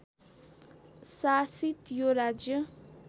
शासित यो राज्य